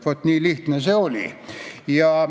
Nii lihtne see oligi.